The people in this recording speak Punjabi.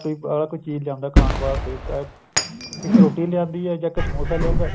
ਕੋਈ ਚੀਜ਼ ਲਿਆਉਦਾ ਖਾਣ ਵਾਸਤੇ ਇੱਕ ਰੋਟੀ ਲਿਆਉਦੀ ਹੈ ਜਾਂ ਇੱਕ ਸਮੋਸਾ ਲਿਆਉਦਾ